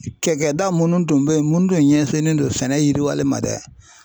Kɛkɛ da munnu tun bɛ yen minnu tun ɲɛsinnen don sɛnɛ yiriwalen ma dɛ